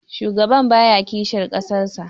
shugaban baya kishin ƙasarsa